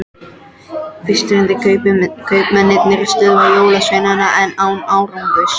Fyrst reyndu kaupmennirnir að stöðva jólasveinana en án árangurs.